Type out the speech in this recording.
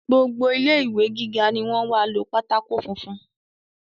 Gbogbo ilé ìwé gíga ni wọ́n wá lo pátákó funfun